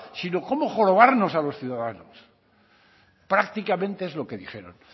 sino cómo jorobarnos a los ciudadanos prácticamente es lo que dijeron